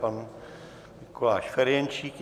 Pan Mikuláš Ferjenčík.